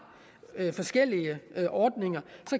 forskellige ordninger